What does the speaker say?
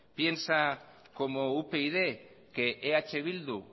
piensa como upyd que eh bildu